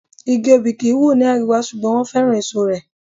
Igi Obì kì ń wù ní àríwá, ṣùgbọ́n wọn féràn èso rẹ̀.